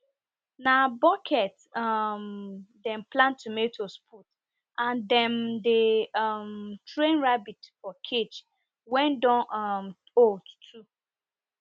na bucket um dem plant tomatoes put and dem dey um train rabbit for cage wen don um old too